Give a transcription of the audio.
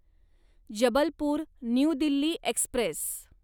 Jabalpur new Delhi Express